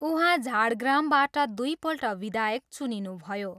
उहाँ झाडग्रामबाट दुइपल्ट विधायक चुनिनुभयो।